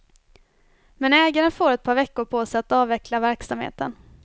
Men ägaren får ett par veckor på sig att avveckla verksamheten.